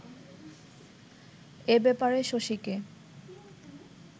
এ ব্যাপারে শশীকে